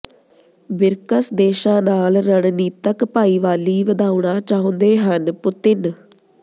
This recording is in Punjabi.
ਬਿ੍ਰਕਸ ਦੇਸ਼ਾਂ ਨਾਲ ਰਣਨੀਤਕ ਭਾਈਵਾਲੀ ਵਧਾਉਣਾ ਚਾਹੁੰਦੇ ਹਨ ਪੁਤਿਨ